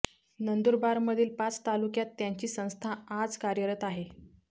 नंदुरबारमधील पाच तालुक्यांत त्यांची संस्था आज कार्यरत आहे